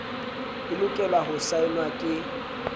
e lokelwa ho saenwa ke